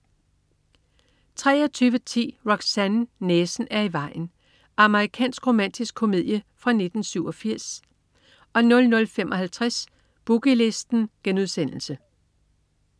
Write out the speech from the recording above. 23.10 Roxanne, næsen er i vejen. Amerikansk romantisk komedie fra 1987 00.55 Boogie Listen*